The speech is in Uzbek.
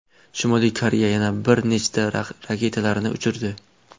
Shimoliy Koreya yana bir nechta raketalarni uchirdi.